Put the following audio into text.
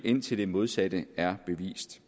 indtil det modsatte er bevist